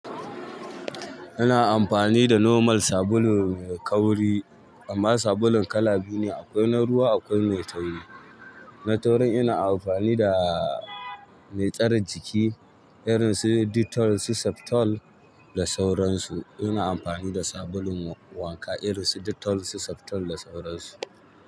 Ina amfani da normal sabulu mai kauri, amma sabulun kala biyu ne, akwai na ruwa akwai mai tauri. Na taurin ina amfani da mai tsare jiki irin su Dettol, Septol da sauransu. Ina amfani da sabulun wanka irin su Dettol, su Septol da sauransu.